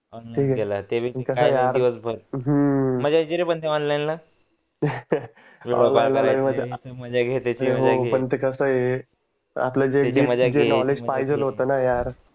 मजा यायची रे पण ते ऑनलाइन ला अरे हो पण कस आहे आपल्या ला जे